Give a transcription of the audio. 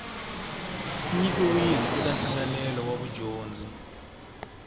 nyikiwile eka nhlanganelo wa vudyondzi